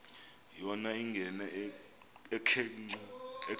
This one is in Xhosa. yona ingena ekhwenxua